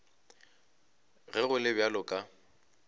ge go le bjalo ka